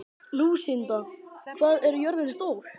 Lúsinda, hvað er jörðin stór?